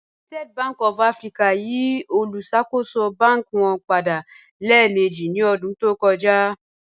United Bank of Africa yí òlúṣakò̩ṣò̩ bánkì wọn padà lẹẹ̀mẹ̀jì ní ọdún tó kọ̀jà.